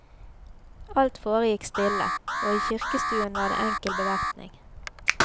Alt foregikk stille, og i kirkestuen var det enkel bevertning.